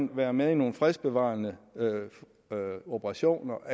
være med i nogle fredsbevarende operationer